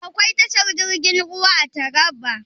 Akwai tashar jirgin ruwa a Taraba?